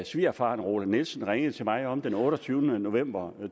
svigerfaren roland nielsen ringede til mig om den otteogtyvende november